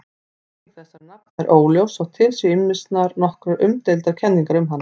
Merking þessara nafna er óljós þótt til séu ýmsar nokkuð umdeildar kenningar um hana.